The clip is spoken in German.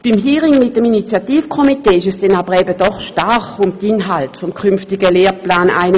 Beim Hearing mit dem Initiativkomitee ging es dann aber eben doch stark um die Inhalte des Lehrplans 21.